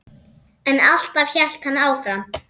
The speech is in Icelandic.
En alltaf hélt hann áfram.